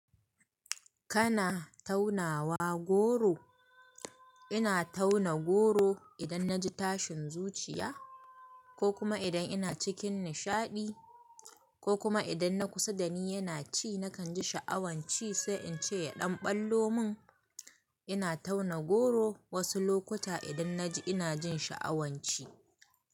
Kana taunawa goro? Ina tauna goro idan na ji tashin zuciya, ko kuma idan ina cikin nishaɗi, ko kuma idan na kusa da ni yana ci na kan ji sha'awan ci sai in ce ya ɗan ɓallo mun. Ina tauna goro wasu lokuta idan na ji ina jin sha'awan ci.